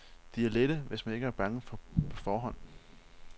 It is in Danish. De er lette, hvis man ikke er bange på forhånd.